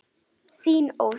Þín Ósk.